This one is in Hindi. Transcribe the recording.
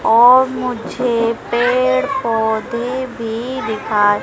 और मुझे पेड़ पौधे भीं दिखा--